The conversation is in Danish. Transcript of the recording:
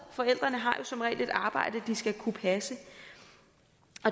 forældrene har jo som regel et arbejde de skal kunne passe